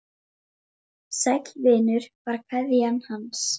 Sæll vinur var kveðjan hans.